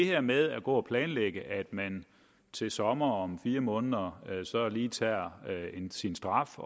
her med at gå og planlægge at man til sommer om fire måneder lige tager sin straf